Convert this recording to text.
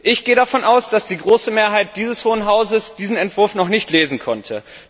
Ich gehe davon aus, dass die große Mehrheit dieses Hohen Hauses diesen Entwurf noch nicht lesen konnte.